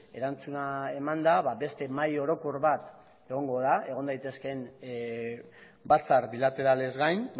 erantzuna emanda beste mahai orokor bat egongo da egon daitezkeen batzar bilateralez gain